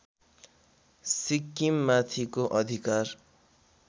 सिक्किममाथिको अधिकार